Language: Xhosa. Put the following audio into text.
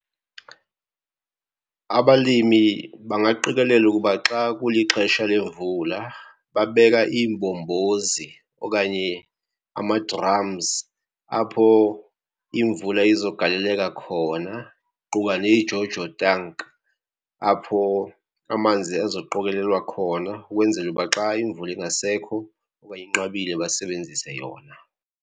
Abalimi bangaqikelela ukuba xa kulixesha lemvula babeka iimbombozi okanye ama-drums apho imvula izogaleleka khona, kuquka neJoJo tank apho amanzi ezoqokelelwa khona ukwenzela uba xa imvula ingasekho okanye inqabile basebenzise yona.